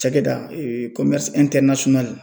Cakɛda